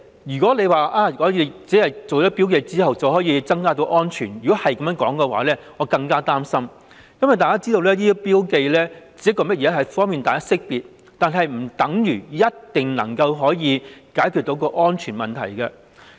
如果政府說增加標記便能提升安全程度，我會更感擔心，因為大家也知道這些標記只是方便識別，不等於一定可以解決安全問題。